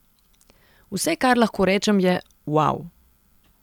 Vse, kar lahko rečem, je uau.